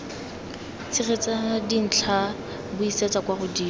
tshegetsa dintlha buisetsa kwa godimo